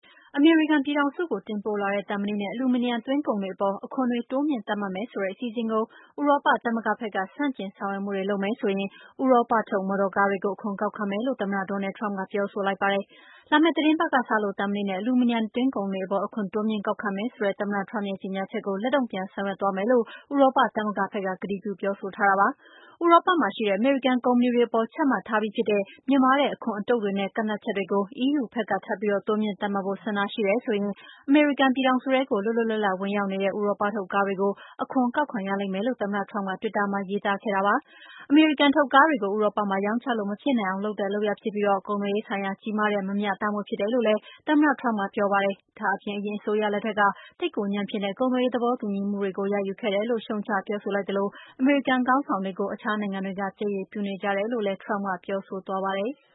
အမေရိကန်ပြည်ထောင်စုကို တင်ပို့လာတဲ့ သံမဏိနဲ့ အလူမီနီယမ် သွင်းကုန်တွေအပေါ် အခွန်တွေ တိုးမြင့်သတ်မှတ်မယ်ဆိုတဲ့ အစီအစဉ်ကို ဥရောပသမဂ္ဂဘက်က ဆန့်ကျင်ဆောင်ရွက်မှုတွေလုပ်မယ်ဆိုရင် ဥရောပထုတ်မော်တော်ကားတွေကို အခွန်ကောက်ခံမယ်လို့ သမ္မတ Donald Trump ကပြောဆိုလိုက်ပါတယ်။ သံမဏိနဲ့ အလူမီနီယမ် သွင်းကုန်တွေအပေါ် အခွန်တိုးမြင့်ကောက်ခံမယ်ဆိုတဲ့ သမ္မတ Trump ရဲ့ကြေငြာချက်ကို လက်တုန့်ပြန်ဆောင်ရွက်သွားမယ်လို့ ဥရောပသမဂ္ဂဘက်က ကတိပြုပြောဆိုထားတာပါ။ ဥရောပမှာရှိတဲ့ အမေရိကန်ကုမ္ပဏီတွေအပေါ်ချမှတ်ထားပြီးဖြစ်တဲ့ မြင့်မားတဲ့အခွန်အတုပ်တွေနဲ့ ကန့်သတ်ချက်တွေကို EU ဘက်က ထပ်ပြီးတိုးမြှင့်သတ်မှတ်ဖို့ ဆန္ဒရှိတယ်ဆိုရင် အမေရိကန်ုပြည်ထောင်စုထဲကို လွတ်လွတ်လပ်လပ် ဝင်ရောက်နေတဲ့ ဥရောပထုတ်ကားတွေကို အခွန်ကောက်ခံရလိမ့်မယ်လို့ သမ္မတ Trump ကတွစ်တာမှာ ရေးသားခဲ့တာပါ။ ဒါဟာ အမေရိကန်ထုတ်ကားတွေကို ဥရောပမှာ ရောင်းချလို့မဖြစ်နိုင်အောင် လုပ်တဲ့လုပ်ရပ်ဖြစ်ပြီး၊ ကုန်သွယ်ရေးဆိုင်ရာ ကြီးမားတဲ့ မမျှတမှုဖြစ်တယ်လို့လည်း သမ္မတ Trump ကပြောပါတယ်။ ဒါ့အပြင် အရင်အစိုးရလက်ထက်က သိပ်ကိုညံ့ဖျင်းတဲ့ ကုန်သွယ်ရေး သဘောတူညီမှုတွေကို ရယူခဲ့တယ်လို့ ရှုတ်ချပြောဆိုသလို အမေရိကန်ခေါင်းဆောင်တွေကို အခြားနိုင်ငံတွေက ပြက်ရယ်ပြုနေကြတယ်လို့လည်း Trump ကပြောဆိုသွားပါတယ်။